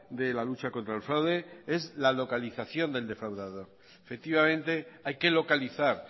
de la lucha contra el fraude es la localización del defraudador efectivamente hay que localizar